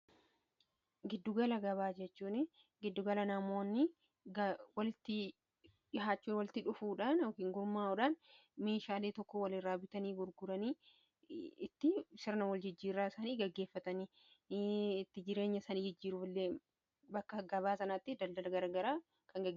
Gidduugala gabaa jechuun giddugala namoonni walitti dhihaachuu walitti dhufuudhaan kan gurmaa'uudhan meeshaalee tokko wal irraa bitanii burguranii itti sirna wal jijjiirraa sanii gaggeeffatanii itti jireenya sanii jijjiiru allee bakka gabaa sanaatti daldala gara garaa.